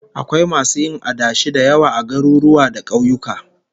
Akwai masu yin adashi da yawa a garuruwa da kauyuka